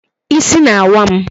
Ịsị na-awa m